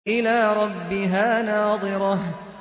إِلَىٰ رَبِّهَا نَاظِرَةٌ